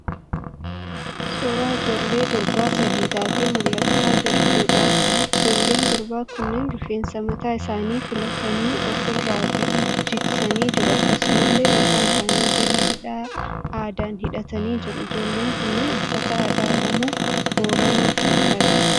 Suuraa ijoollee durbaa sadii taatee mul'achaa jirtuudha. Ijoolleen durbaa kunneen rifeensa mataa isaanii filatanii ofi irra jigsanii jiru. Akkasumallee mataa isaanii jala hidhaa aadaan hidhatanii jiru. Ijoolleen kunneen uffata aadaa Oromoo Booranaa uffachaa jiru.